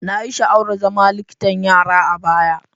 Na yi sha'awar zama likitan yara a baya.